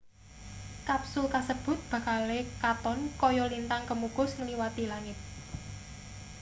kapsul kasebut bakale katon kaya lintang kemukus ngliwati langit